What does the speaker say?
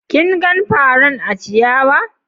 Kin gan faran a ciyawa?